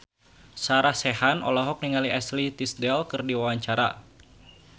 Sarah Sechan olohok ningali Ashley Tisdale keur diwawancara